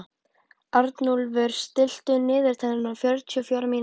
Arnúlfur, stilltu niðurteljara á fjörutíu og fjórar mínútur.